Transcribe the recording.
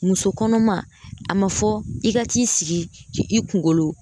Muso kɔnɔma a ma fɔ i ka t'i sigi k'i i kungolo